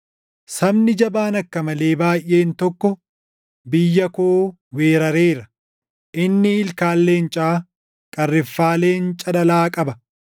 Sabni jabaan akka malee baayʼeen tokko biyya koo weerareera; inni ilkaan leencaa, qarriffaa leenca dhalaa qaba.